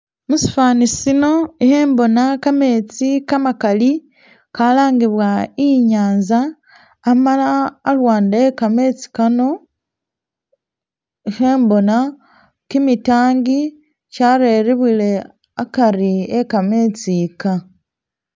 Musifaninsino khembona kametsi kamakali kalangibwa inyanza amala aluwande ekametsi Kano khembona kimitangi kyarerebwile akari ekametsi kaa